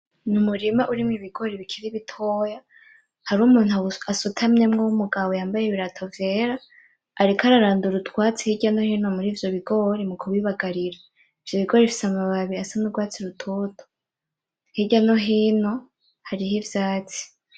Umurima urimwo ibigori bikiri bitoya, harimo umuntu asutamyemo w'umugabo yambaye ibirato vyera, ariko ararandura utwatsi hirya no hino muri vyo bigori mu kubibagarira. Vyarikuba bifise amababi asa nurwatsi rutoto. Hirya no hino hariho ivyatsi.